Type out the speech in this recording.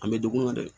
An bɛ dugu kɔnɔ dɛ